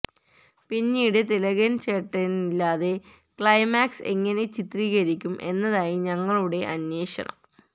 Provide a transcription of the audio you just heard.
പിന്നീട് തിലകന് ചേട്ടനില്ലാതെ ക്ളൈമാക്സ് എങ്ങനെ ചിത്രീകരിക്കും എന്നതായി ഞങ്ങളുടെ അന്വേഷണം